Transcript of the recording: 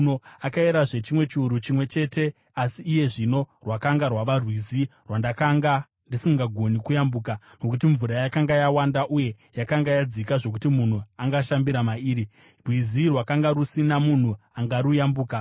Akayerazve chimwe chiuru chimwe chete, asi iye zvino rwakanga rwava rwizi rwandakanga ndisingagoni kuyambuka, nokuti mvura yakanga yawanda uye yakanga yadzika zvokuti munhu angashambira mairi, rwizi rwakanga rusina munhu angaruyambuka.